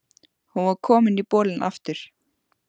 Hún var komin í bolinn aftur.